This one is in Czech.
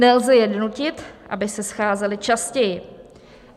Nelze je donutit, aby se scházely častěji.